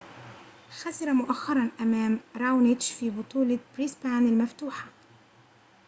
خسر مؤخرًا أمام راونيتش في بطولة بريسبان المفتوحة